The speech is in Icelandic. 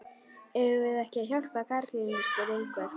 Eigum við ekki að hjálpa karlinum? spurði einhver.